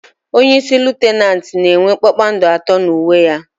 Onyeisi Litenant na enwe kpakpando atọ n'uwe ya